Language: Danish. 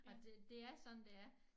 Og det det er sådan det er